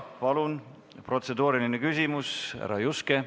Palun protseduuriline küsimus, härra Juske!